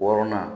Wɔɔrɔnan